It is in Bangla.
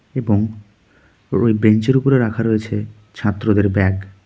এবং রয়ে বেঞ্চের উপরে রাখা রয়েছে ছাত্রদের ব্যাগ .